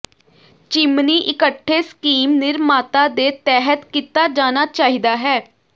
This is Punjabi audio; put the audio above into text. ਚਿਮਨੀ ਇਕੱਠੇ ਸਕੀਮ ਨਿਰਮਾਤਾ ਦੇ ਤਹਿਤ ਕੀਤਾ ਜਾਣਾ ਚਾਹੀਦਾ ਹੈ